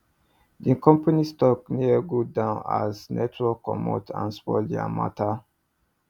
the company stock near go down as network commot and spoil their matter